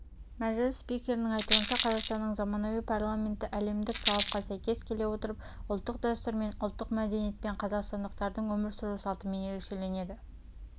мәжіліс спикерінің айтуынша қазақстанның заманауи парламенті әлемдік талапқа сәйкес келе отырып ұлттық дәстүрмен ұлттық мәдениетпен қазақстандықтардың өмір сүру салтымен ерекшеленеді